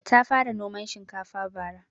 Ta fara noman shinkafa bara